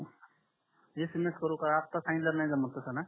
SMS करू का आता सांगलयावर नाही जामेल का